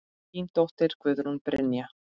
Þín dóttir, Guðrún Brynja.